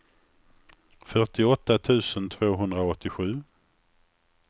fyrtioåtta tusen tvåhundraåttiosju